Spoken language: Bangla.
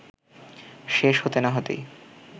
শেষ হতে না হতেই